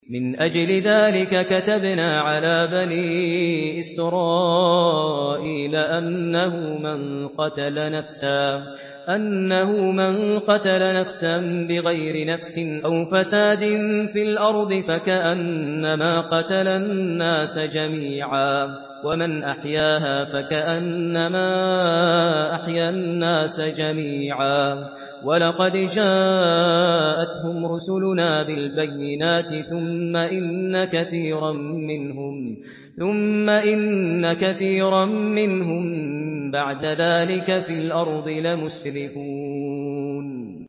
مِنْ أَجْلِ ذَٰلِكَ كَتَبْنَا عَلَىٰ بَنِي إِسْرَائِيلَ أَنَّهُ مَن قَتَلَ نَفْسًا بِغَيْرِ نَفْسٍ أَوْ فَسَادٍ فِي الْأَرْضِ فَكَأَنَّمَا قَتَلَ النَّاسَ جَمِيعًا وَمَنْ أَحْيَاهَا فَكَأَنَّمَا أَحْيَا النَّاسَ جَمِيعًا ۚ وَلَقَدْ جَاءَتْهُمْ رُسُلُنَا بِالْبَيِّنَاتِ ثُمَّ إِنَّ كَثِيرًا مِّنْهُم بَعْدَ ذَٰلِكَ فِي الْأَرْضِ لَمُسْرِفُونَ